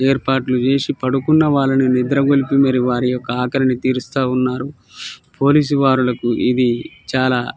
ఎరుపట్లు చేసి పడుకున్న వారిని నిద్రలేపి మరి వారి ఒక ఆకలిని తెరుస్తునారు పోలీస్ వాలకి ఇది చాల --